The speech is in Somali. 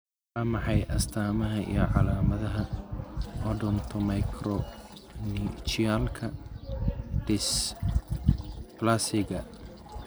Waa maxay astamaha iyo calaamadaha Odontomicronychialka dysplasiga?